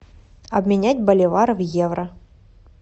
обменять боливары в евро